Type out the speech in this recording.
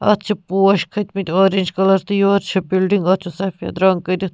اَتھ چھ پوش کٔھتۍ مٕتۍ اورینج کلر تہٕ یورٕچھ بِلڈِنگ .اَتھ چُھ سفیدرنٛگ کٔرِتھ